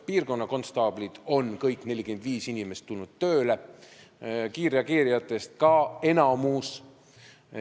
Kõik 45 piirkonnakonstaablit on tulnud tööle, kiirreageerijatest ka enamik.